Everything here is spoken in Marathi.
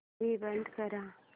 टीव्ही बंद कर